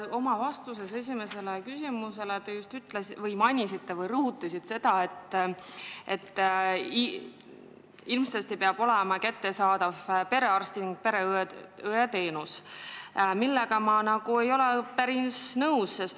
Oma vastuses esimesele küsimusele te mainisite või rõhutasite seda, et ilmsesti peab kättesaadav olema perearsti- ning pereõeteenus, millega ma päris nõus ei ole.